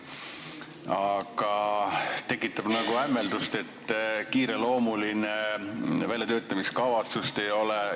Samas tekitab nagu hämmeldust, et see on nii kiireloomuline, väljatöötamiskavatsust ei ole.